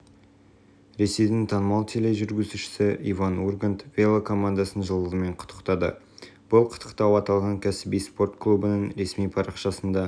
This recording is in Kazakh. ресейдің танымал тележүргізушісі иван ургант велокомандасын жылдығымен құттықтады бұл құттықтау аталған кәсіби спорт клубының ресми парақшасында